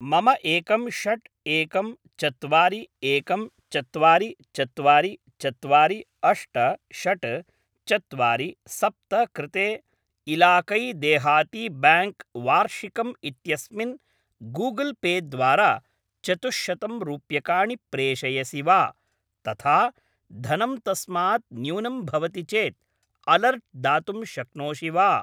मम एकं षट् एकं चत्वारि एकं चत्वारि चत्वरि चत्वारि अष्ट षट् चत्वारि सप्त कृते इलाकै देहाती ब्याङ्क् वार्षिकम् इत्यस्मिन् गूगल् पे द्वारा चतुश्शतं रूप्यकाणि प्रेषयसि वा? तथा धनं तस्मात् न्यूनं भवति चेत् अलर्ट् दातुं शक्नोषि वा?